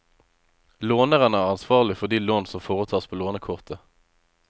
Låneren er ansvarlig for de lån som foretas på lånekortet.